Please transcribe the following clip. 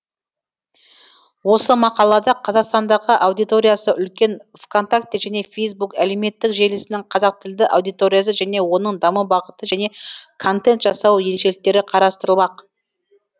осы мақалада қазақстандағы аудиториясы үлкен вконтакте және фейсбук әлеуметтік желісінің қазақтілді аудиториясы және оның даму бағыты және контент жасау ерекшеліктері қарастырылмақ